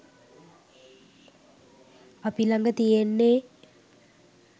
අපි ලඟ තියෙන්නේ